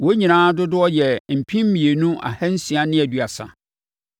Wɔn nyinaa dodoɔ yɛɛ mpem mmienu ahansia ne aduasa.